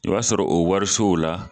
I b'a sɔrɔ o warisow la